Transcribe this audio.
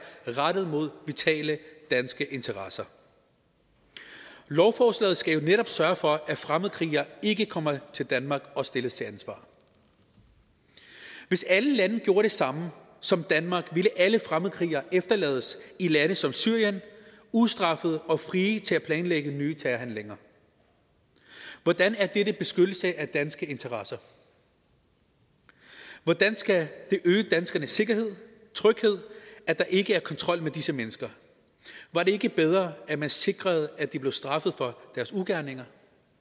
rettet mod vitale danske interesser lovforslaget skal jo netop sørge for at fremmedkrigere ikke kommer til danmark og stilles til ansvar hvis alle lande gjorde det samme som danmark ville alle fremmedkrigere efterlades i lande som syrien ustraffet og frie til at planlægge nye terrorhandlinger hvordan er det en beskyttelse af danske interesser hvordan skal det øge danskernes sikkerhed og tryghed at der ikke er kontrol med disse mennesker var det ikke bedre at man sikrede at de blev straffet for deres ugerninger